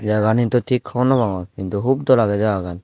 jaga gan hintu thik hobor no pangor hintu hun dol age jagagan.